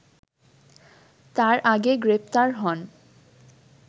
তার আগে গ্রেপ্তার হন